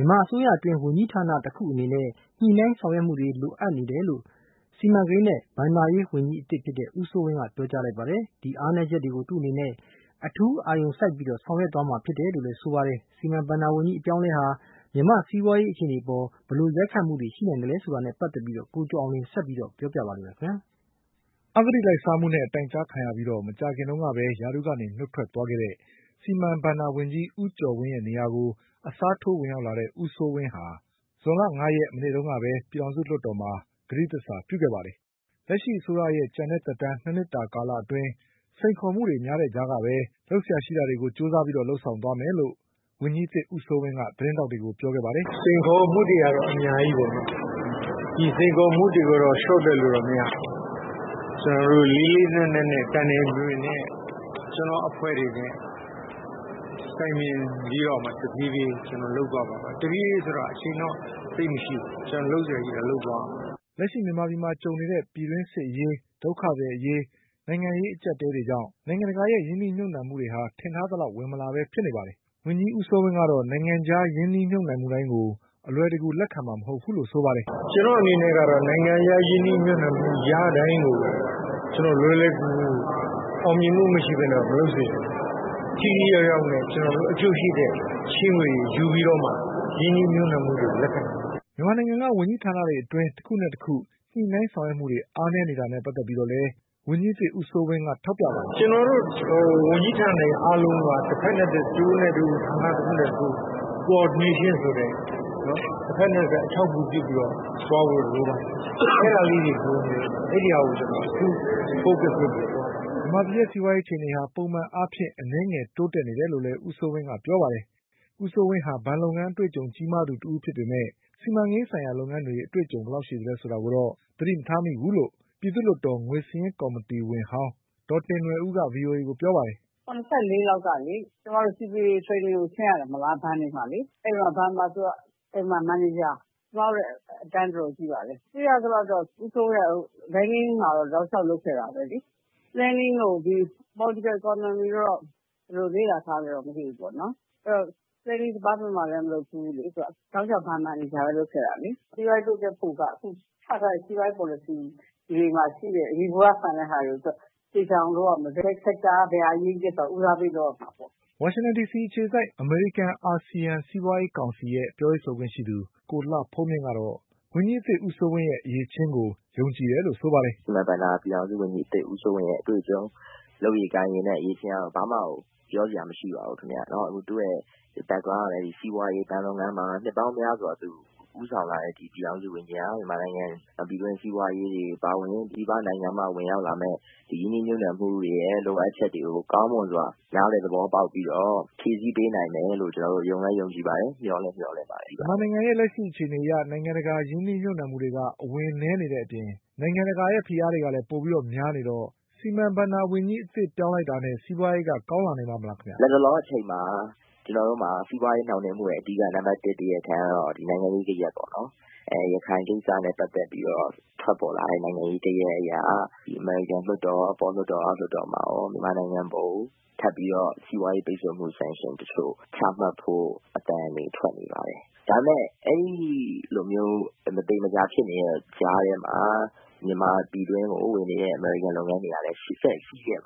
ြန်မာအစိုးရအတွင်း ဝန်းကြီးဌာနတွေတခုနဲ့တခု ညှိနှိုင်းဆောင်ရွက်မှုတွေလိုအပ်နေတယ်လို့ စီမံကိန်းနဲ့ဘဏ္ဍာရေး ဝန်ကြီးအသစ် ဦးစိုးဝင်းကပြောလိုက်ပါတယ်။ ဒီအားနည်းချက်တွေကို သူ့အနေနဲ့ အထူးအာရုံစိုက်ပြီး ဆောင်ရွက်သွား မယ်လို့လည်းဆိုပါတယ်။ စီမံဘဏ္ဍာဝန်ကြီးအပြောင်းအလဲဟာ မြန်မာ့စီးပွါးရေးအခြေအနေတွေအပေါ်မှာ ဘယ်လိုရိုက် ခတ်မှုတွေရှိနိုင်သလဲဆိုတာနဲ့ပတ်သက်ပြီး ကိုကျော်အောင်လွင်က ဆက်ပြီးပြောပြပါလိမ့်မယ်။ အဂတိလိုက်စားမှုနဲ့တိုင်ကြားခံရပြီး မကြာခင်ကပဲ ရာထူးကနေနုတ်ထွက်သွားခဲ့တဲ့ စီမံဘဏ္ဍာဝန်ကြီး ဦးကျော်ဝင်းရဲ့ နေရာကို အစားထိုးဝင်ရောက်လာတဲ့ ဦးစိုးဝင်းဟာ ဇွန်လ၅ရက် မနေ့ကပဲ ပြည်ထောင်စုလွှတ်တော်မှာ ကတိသစ္စာပြု ခဲ့ပါတယ်။ လက်ရှိအစိုးရသက်တမ်းကျန်တဲ့ ၂နှစ်တာကာလအတွင်း စိန်ခေါ်မှုတွေများတဲ့ကြားကပဲ လုပ်စရာရှိတာ တွေကို ကြိုးစားလုပ်ဆောင်သွားမယ်လို့ ဝန်ကြီးအသစ် ဦးစိုးဝင်းက သတင်းထောက်တွေကို ပြောခဲ့ပါတယ်။ “စိန်ခေါ်မှုတွေကတော့ အများကြီးပေါ့နော် ဒီစိန်ခေါ်မှုတွေကိုတော့ လျော့တွက်လို့မရဘူး။ ကျနော်တို့လေးလေးနက်နက်နဲ့ တိုင်တိုင်ပင်ပင်နဲ့ ကျနော့်အဖွဲ့တွေနဲ့ တိုင်ပင်ပြီးတော့မှ တဖြေးဖြေးကျနော်လုပ်သွားပါမယ်။ အချိန်တော့သိပ်မရှိဘူး ကျနော်တု့ိလုပ်စရာရှိတာလုပ်သွားရမှာပါ။” လက်ရှိ မြန်မာပြည်မှာကြုံနေတဲ့ ပြည်တွင်းစစ်အရေး၊ ဒုက္ခသည်အရေး၊ နိုင်ငံရေးအကျပ်အတည်းတွေကြောင့် နိုင်ငံတကာရဲ့ ရင်း နှီးမြုပ်နှံမှုတွေ ထင်ထားသလောက် ဝင်မလာပဲဖြစ်နေပါတယ်။ ဝန်ကြီးဦးစိုးဝင်းကတော့ နိုင်ငံခြားရင်းနှီးမြုပ်နှံမှုတိုင်းကို အလွယ်တကူလက်ခံမှာမဟုတ်ဘူးလို့ဆိုပါတယ်။ “ကျနော့်အနေနဲ့ကတော့ နိုင်ငံခြားရင်းနှီးမြုပ်နှံမှုရတိုင်းကို လွယ်လွယ်ကူကူ အောင်မြင်မှုမရှိပဲနဲ့ မလုပ်စေချင်ဘူး ထိထိရောက်ရောက်နဲ့ ကျနော်တို့ အကျိုးရှိတဲ့ ချေးငွေတွေယူပြီးတော့မှ ရင်းနှီးမြုပ်နှံမှုကိုလက်ခံမှာပါ။” မြန်မာနိုင်ငံက ဝန်ကြီးဌာနတွေအတွင်း တခုနဲ့တခု ညှိနှိုင်းဆောင်ရွက်မှုတွေ အားနည်းနေတာနဲ့ပတ်သက်ပြီးတော့လည်း ဝန်ကြီးအသစ်ဦးစိုးဝင်းက ထောက်ပြပါတယ်။ “ကျနော်တို့ ဝန်ကြီးဌာနတွေအားလုံးက တဖက်နဲ့ တဖက် တဦးနဲ့တဦး ဌာနတခုနဲ့ တခု Coordination ဆိုတဲ့ တဖက်နဲ့ တဖက် အထောက်အကူပြုပြီးတော့ သွားဖို့တော့ လိုပါမယ်။ အဲဒါလေးတွေကို ကျနော်အထူး Focus လုပ်ပြီးတော့ သွားပါမယ်။” မြန်မာပြည် ရဲ့ စီးပွါးရေးအခြေအနေက ပုံမှန်အားဖြင့် အနည်းငယ်တိုးတက်နေတယ်လို့လည်း ဦးစိုးဝင်းကပြောပါတယ်။ ဦးစိုးဝင်းဟာ ဘဏ်လုပ်ငန်းအတွေ့အကြုံကြီးမားသူတဦးဖြစ်ပေမဲ့ စီမံကိန်းလုပ်ငန်းအတွေ့အကြုံဘယ်လောက်ရှိသလဲဆိုတာကိုတော့ သတိမထားမိဘူးလို့ ပြည်သူ့လွှတ်တော် ငွေစာရင်းကော်မီတင်ဝင်ဟောင်း ဒေါ်တင်နွယ်ဦးက ဗွီအိုအေကိုပြောပါတယ်။ “၇၄ လောက်က ကျမတို့ Security Training ဆင်းရတယ် ဘဏ်တွေကိုလေ ။ အဲဒီတုန်းက ဘဏ်မှာ သူကမန်နေဂျာ ကျမတို့ထက် အတန်းတော်တော်ကြီးပါတယ်။ ကြည့်ရသလောက်ကတော့ ဦးစိုးဝင်းကတော့ Banking မှာတော့ တောက်လျောက်လုပ်ခဲ့တာပဲလေ။ Planning တို့ Political Economy တို့ ကိုတော့ ဘယ်လိုလေ့လာထားသလဲတော့မသိဘူးပေါ့နော်။ တောက်လျောက် ဘဏ်မန်နေဂျာလုပ်ခဲ့တာလေ။ စီးပွားရေးတိုးတက်ဖို့က အခုချထားတဲ့ စီးပွားရေး Policy မှာရှိတဲ့ ယေဘုယျဆန်တာတွေကိုသူက သေချာအောင်လုပ်ရမယ် ဘယ် Sector က ဘယ်လိုဆိုတာကို ဦးစားပေးလုပ်ရမှာပေါ့။” ဝါရှင်တန်ဒီစီအခြေစိုက် အမေရိကန် အာဆီယံစီးပွါးရေးကောင်စီရဲ့ ပြောရေးဆိုခွင့်ရှိသူ ကိုလှဖုန်းမြင့်ကတော့ ဝန်ကြီး အသစ်ဦးစိုးဝင်းရဲ့ အရည်အချင်းကို ယုံကြည်တယ်လို့ဆိုပါတယ်။ “စီမံဘဏ္ဍာ ပြည်ထောင်စုဝန်ကြီးဦးစိုးဝင်းရဲ့ အတွေ့အကြုံ လုပ်ရည်ကိုင်ရည်နဲ့ အရည်အချင်းကတော့ ဘာမှကို ပြောစရာမရှိပါဘူး။ သူ့ background ကလည်း စီးပွားရေး ၊ ဘဏ်လုပ်ငန်းမှာ နှစ်ပေါင်းများစွာဦးဆောင်လာတဲ့ ပြည်ထောင်စုဝန်ကြီးဟာ မြန်မာနိုင်ငံ ပြည်တွင်းစီးပွားရေးအပါအဝင် ပြည်ပနိုင်ငံမှာ ဝင်ရောက်လာမယ့် ဒီရင်းနှီးမြုပ်နှံမှုရဲ့ လိုအပ်ချက်တွေကို ကောင်းမွန်စွာ နားလည်သဘောပေါက်ပြီးတော့ ဖြည့်ဆည်းပေးမယ်လို့ ယုံလည်းယုံကြည်တယ် ။ မျှော်လည်းမျှော်လင့်ပါတယ်ခင်ဗျ။ မေး။ ။ မြန်မာပြည်ရဲ့လက်ရှိအခြေ အနေအရ နိုင်ငံတကာရဲ့ရင်းနှီးမြုပ်နှံမှုတွေက အဝင်နည်းနေတဲ့အပြင် နိုင်ငံတကာရဲ့ဖိအားတွေကလည်းပိုများနေတော့ စီမံဘဏ္ဍာဝန်ကြီးအသစ်ပြောင်းလိုက်တာနဲ့ စီးပွါးရေးက ကောင်းလာနိုင်ပါ့မလားခင်ဗျ။ ဖြေ။ ။ လက်တလောအချိန်မှာ ကျနော်တို့မှာ စီးပွားရေးနှောင့်နှေးမှုအဓိက နံပတ်၁ တရားခံကတော့ နိုင်ငံရေးဂယက်ပေါ့နော်။ ရခိုင်ကိစ္စနဲ့ ပတ်သက်ပြီးတော့ ထွက်ပေါ်လာတဲ့ နိုင်ငံရေးဂယက်အရ အမေရိကန်လွှတ်တော် အထက်လွှတ်တော် ၊ အောက်လွှတ်တော်မှာရော မြန်မာနိုင်ငံအပေါ်ကို ထပ်ပြီးတော့ စီးပွားရေးပိတ်ဆို့တဲ့ Sanction တချို့ ချမှတ်ဖို့ အသံတွေထွက်နေပါတယ်။ ဒါပေမယ့် အဲဒီလိုမျိုး မသေမချာဖြစ်နေတဲ့ ကြားထဲမှာ မြန်မာပြည်တွင်းကို ဝင်နေတဲ့ အမေရိကန်လုပ်ငန်းတွေကလည်း ဆက်ရှိနေတယ်